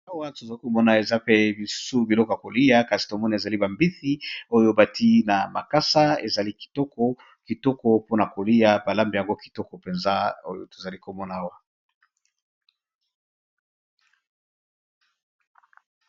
Na mesa balakisi biso, sani eza na loboke ya mbisi balambi na makasa.